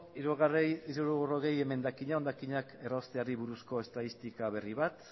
hirurogei emendakina hondakinak errausteari buruzko estadistika berri bat